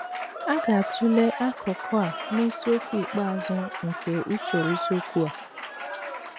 A ga - atụle akụkụ a n’isiokwu ikpeazụ nke usoro isiokwu a.